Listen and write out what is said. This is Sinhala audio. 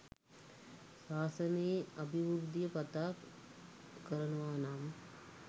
ශාසනයේ අභිවෘද්ධිය පතා කරනවා නම්